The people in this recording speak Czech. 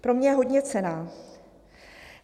Pro mě je hodně cenná.